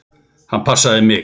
Hann passaði mig.